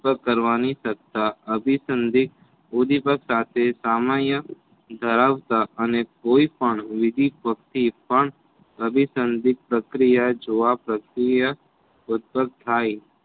ઉતપગ કરવાની સત્તા અભિસંન્ધિક ઉડિપીગ સાથે સામાન્ય ધરાવતા અને કોઈ પણ વિવિધ ભક્તિ પણ અભિસંધિક પ્રક્રિયા જોવા પ્રક્રિયા ઉતપગ થાય